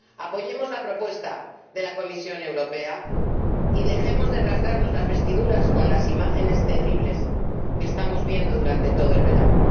Apoyemos la propuesta de la Comisión Europea y dejemos de rasgarnos las vestiduras con las imágenes terribles que estamos viendo durante todo el verano.